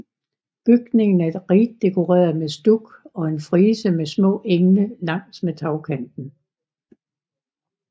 Bygningen er rigt dekoreret med stuk og en frise med små engle langs med tagkanten